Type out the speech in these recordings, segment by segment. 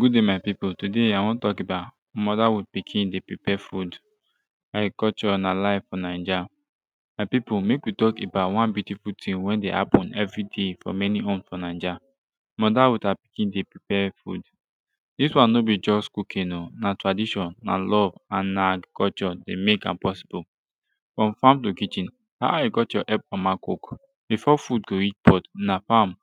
good dai my pipu todai i wan tok about motherhood pikin dey prepare food agriculture na life fo naija my pipu mek wi tok about one beautiful ting wey dey hapen evri day fo many home fo naija motherhood and pikin dey prepare food dis one no bi juz cooking o na tradition and love and na agriculture dey mek am possible frum fam to kitchen how agriculture help mama cook befor food go reach pot na fam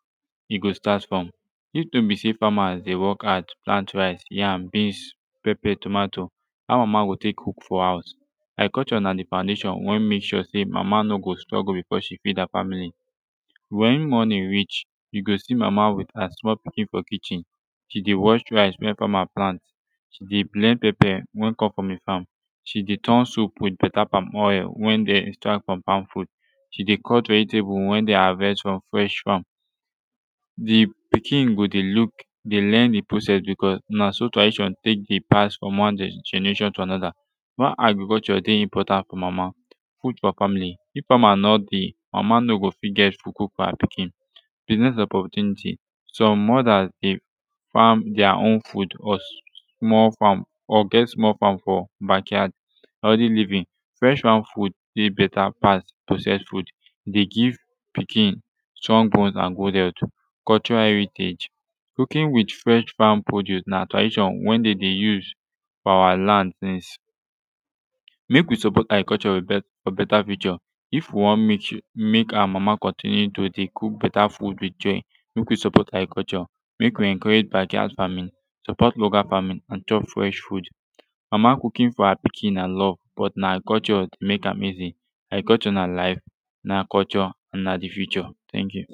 e go start frum if no bi sey famas dey wok hard to plant rice yam beans pepper tomato how mama go tek cook fo house agriculture na de foundation wey mek sure sey mama no go struggle befor she feed her famili wen morning reach yu go si mama wit her small pikin fo kitchen she dey wash rice wey fama plant she dey blend pepper wen come frum de fam she dey turn soup wit beta pam oil wen dem extract frum palm fruit she dey cut vegetable wen dem havest frum fresh fam dey pikin go dey look dey learn de process becuz na so tradition tek dey pass frum one generation to de anoda why agriculture dey important fo mama food fo famili if fama no dey mama no go fit get food fo ha pikin biznez opportunity som mothers dey fam their own food cuz small fam or get small fam fo bakyard healthy living fresh fam food dey beta pass processed food e dey give pikin strong bones and good health cultural heritage cooking wit fresh fam produce na tradition wen dey dey use for awa land since mek wi support agriculture fo beta future if wi wan mek mek awa mama continue to dey cook beta food wit joy mek wi support agriculture mek wi encourage bakyard faming support local famin and chop fresh food mama cooking fo ha pikin na love but na agriculture mek am easy agriculture na life na culture na de future teink yu